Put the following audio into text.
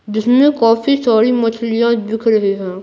जिसमें काफी सारी मछलियां दिख रही हैं।